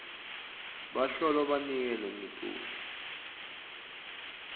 bahlolwa banike langetulu